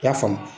I y'a faamu